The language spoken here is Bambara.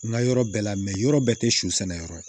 N ka yɔrɔ bɛɛ la yɔrɔ bɛɛ tɛ su sɛnɛyɔrɔ ye